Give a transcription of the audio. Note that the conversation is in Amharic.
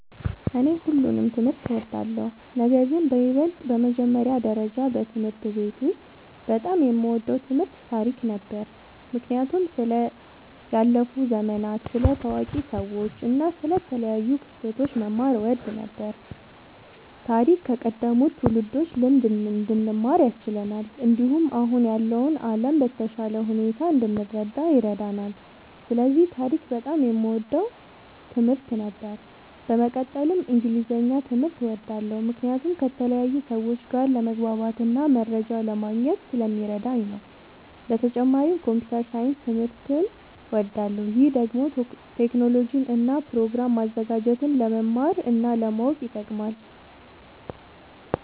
እኔ ሁሉንም ትምህርት እወዳለሁ፤ ነገርግን በይበልጥ በመጀመሪያ ደረጃ በትምህርት ቤት ውስጥ በጣም የምወደው ትምህርት ታሪክ ነበር። ምክንያቱም ስለ ያለፉ ዘመናት፣ ስለ ታዋቂ ሰዎች እና ስለ ተለያዩ ክስተቶች መማር እወድ ነበር። ታሪክ ከቀደሙት ትውልዶች ልምድ እንድንማር ያስችለናል፣ እንዲሁም አሁን ያለውን ዓለም በተሻለ ሁኔታ እንድንረዳ ይረዳናል። ስለዚህ ታሪክ በጣም የምወደው ትምህርት ነበር። በመቀጠልም እንግሊዝኛ ትምህርት እወዳለሁ ምክንያቱም ከተለያዩ ሰዎች ጋር ለመግባባትና መረጃ ለማግኘት ስለሚረዳኝ ነዉ። በተጨማሪም ኮምፒዉተር ሳይንስ ትምህርትም እወዳለሁ። ይህ ደግሞ ቴክኖሎጂን እና ፕሮግራም ማዘጋጀትን ለመማር እና ለማወቅ ይጠቅማል።